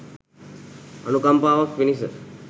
අනුකම්පාවක් පිණිස